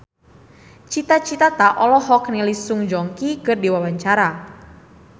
Cita Citata olohok ningali Song Joong Ki keur diwawancara